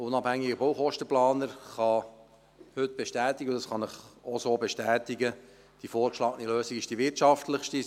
Ein unabhängiger Baukostenplaner kann heute bestätigen – dies kann auch ich Ihnen so bestätigen –, dass die vorgeschlagene Lösung die wirtschaftlichste ist.